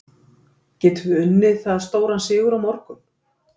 Getum við unnið það stóran sigur á morgun?